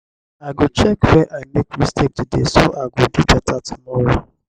i go check where i make mistake today so i go do beta tomorrow.